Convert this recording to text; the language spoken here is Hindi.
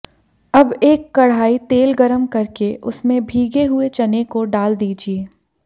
अब एक कढ़ाही तेल गरम करके उसमें भीगे हुए चने को डाल दीजिए